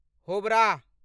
Howrah